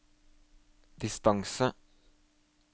distance